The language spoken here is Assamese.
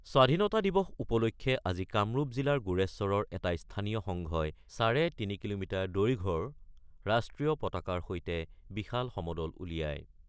স্বাধীনতা দিৱস উপলক্ষে আজি কামৰূপ জিলাৰ গোৰেশ্বৰৰ এটা স্থানীয় সংঘই চাৰে তিনি কিলোমিটাৰ দৈৰ্ঘৰ ৰাষ্ট্ৰীয় পতাকাৰ সৈতে বিশাল সমদল উলিয়ায়।